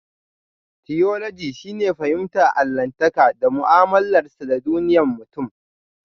Tiyoloji shine fahimtar allahntaka da mu'amalarsa da duniyar mutum.